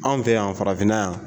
Anw fɛ yan farafinna yan